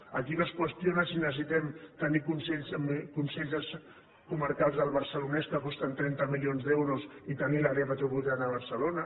aquí no es qüestiona si necessitem tenir consells comarcals al barcelonès que costen trenta milions d’euros i tenir l’àrea metropolitana de barcelona